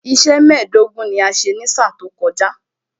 Iṣẹ́ mẹ́ẹ̀dógún ni a ṣe ní sáà tó kọjá